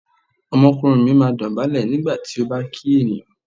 Ọmọkùnrin mi máa dọ̀bálẹ̀ nígbà tí ó bá kí ènìyàn.